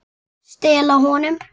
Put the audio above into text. Stela honum?